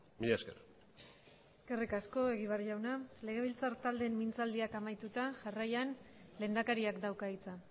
mila esker eskerrik asko egibar jauna legebiltzar taldeen mintzaldiak amaituta jarraian lehendakariak dauka hitza